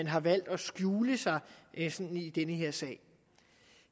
har valgt at skjule sig i den her sag